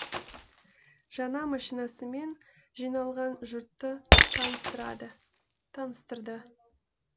жаңа машинасымен жиналған жұртты таныстырды